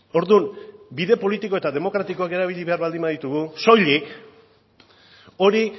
orduan bide politiko eta demokratikoak erabili behar baditugu soilik hori